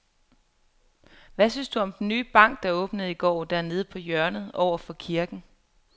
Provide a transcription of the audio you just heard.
Hvad synes du om den nye bank, der åbnede i går dernede på hjørnet over for kirken?